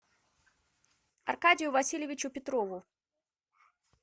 аркадию васильевичу петрову